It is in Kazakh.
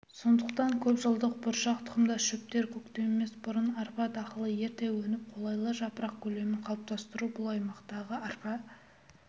сондықтан көпжылдық бұршақ тұқымдас шөптер көктемес бұрын арпа дақылы ерте өніп қолайлы жапырақ көлемін қалыптастыру бұл аймақтағы арпа